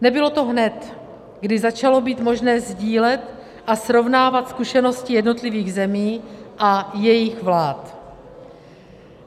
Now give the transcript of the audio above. Nebylo to hned, kdy začalo být možné sdílet a srovnávat zkušenosti jednotlivých zemí a jejich vlád.